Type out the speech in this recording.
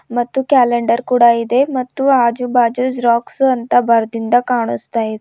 ಮತ್ತು ಕ್ಯಾಲೆಂಡರ್ ಕೂಡ ಇದೆ ಮತ್ತು ಆಜು ಬಾಜು ಜೆರಾಕ್ಸು ಅಂತ ಬರ್ದಿಂದ ಕಾಣುಸ್ತಾ ಇದೆ.